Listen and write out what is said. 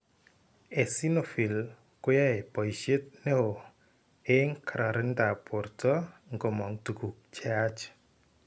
Eosinophils ko yae boishet ne o eng' kararindab borto ngomong' tukuk che yach.